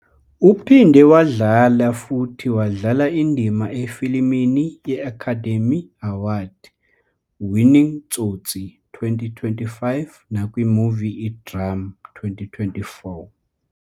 Uphinde wadlala futhi wadlala indima efilimini ye-Academy Award- "Winning Tsotsi", 2005, "nakwi-movie iDrum", 2004.